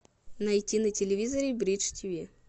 найти на телевизоре бридж тиви